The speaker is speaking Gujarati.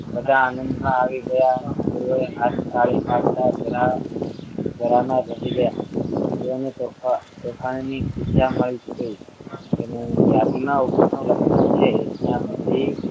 બધા આનંદમાં આવી ગયા અને તેઓએ હાથ તાળી પાડતા જળા જળામા વહી ગયા તેઓને તોફાન તોફાનની ની ખુશાલ મળતી યાદીમાં ઉપરનું લખાણ છે ત્યાં